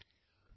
Friends,